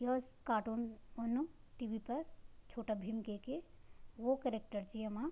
यो स कार्टून उन टी.वी. पर छोटा भीम केकी वो केरेक्टर च येमा।